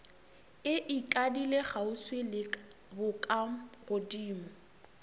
e ikadile kgauswi le bokagodimo